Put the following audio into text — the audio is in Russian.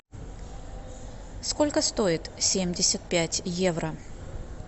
сколько стоит семьдесят пять евро